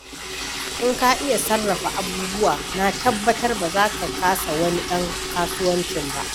In ka iya sarrafa abubuwa, na tabbatar ba za ka kasa wani ɗan kasuwaanci ba.